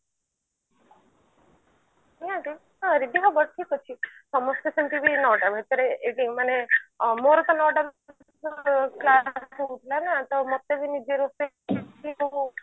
ଯାଆନ୍ତୁ ହଁ reedy ହବ ଠିକ ଅଛି ସମସ୍ତେ ସେମତି ନଅଟା ଭିତରେ ଏଯୋଉ ମାନେ ମୋର ତ ନଅଟା ଭିତରେ ହଉଥିଲା ନା ତ ମତେ ବି ନିଜେ ରୋଷେଇ କରି